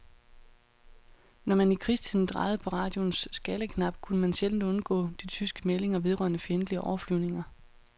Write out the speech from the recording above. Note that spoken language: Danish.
Når man i krigstiden drejede på radioens skalaknap, kunne man sjældent undgå de tyske meldinger vedrørende fjendtlige overflyvninger.